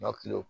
Nka